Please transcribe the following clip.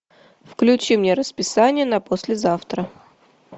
включи мне расписание на послезавтра